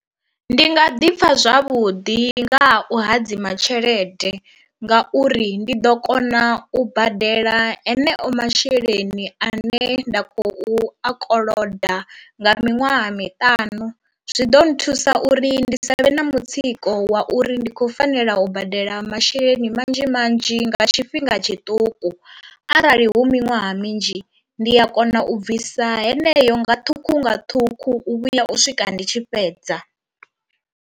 Ndi nga ḓi pfha zwavhuḓi nga ha u hadzima tshelede nga uri ndi ḓo kona u badela heneo masheleni ane nda khou i koloda nga miṅwaha miṱanu, zwi ḓo nthusa uri ndi sa vhe na mutsiko wa uri ndi khou fanela u badela masheleni manzhi manzhi nga tshifhinga tshiṱuku arali hu miṅwaha minzhi ndi a kona u bvisa heneyo nga ṱhukhu nga ṱhukhu u vhuya u swika ndi tshi fhedza.